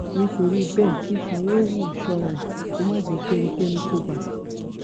nítorí bẹẹ kí sanwóówù ṣọra ẹ kó má jẹ kí ẹnikẹni kó bá a